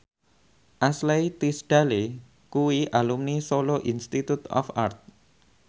Ashley Tisdale kuwi alumni Solo Institute of Art